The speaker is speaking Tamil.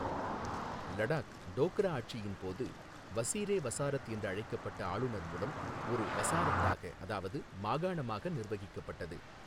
லடாக் டோக்ரா ஆட்சியின் போது வஸீரே வஸாரத் என்று அழைக்கப்பட்ட ஆளுநர் மூலம் ஒரு வஸாரத்தாக அதாவது மாகாணமாக நிர்வகிக்கப்பட்டது.